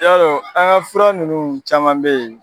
Yarɔ an ka fura ninnu caman bɛ ye.